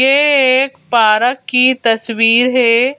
ये एक पारक की तस्वीर है।